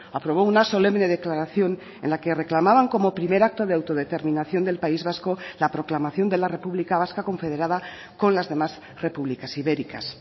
aprobó una solemne declaración en la que reclamaban como primer acto de autodeterminación del país vasco la proclamación de la republica vasca confederada con las demás republicas ibéricas